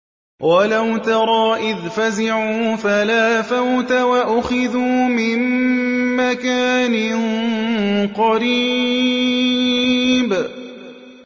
وَلَوْ تَرَىٰ إِذْ فَزِعُوا فَلَا فَوْتَ وَأُخِذُوا مِن مَّكَانٍ قَرِيبٍ